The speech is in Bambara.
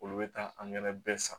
Olu bɛ taa an yɛrɛ bɛɛ san